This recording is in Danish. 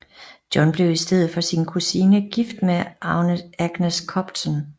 John blev i stedet for sin kusine gift med Agnes Copton